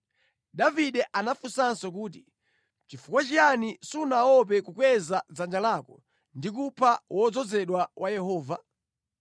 Davide anamufunsanso kuti, “Nʼchifukwa chiyani sunaope kukweza dzanja lako ndi kupha wodzozedwa wa Yehova?”